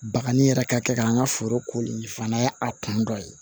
Bakanni yɛrɛ ka kɛ ka n ka foro koli fana a kun dɔ ye